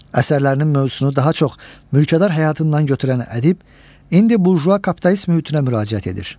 Əsərlərinin mövzusunu daha çox mülkədar həyatından götürən ədib indi burjua kapitalist mühitinə müraciət edir.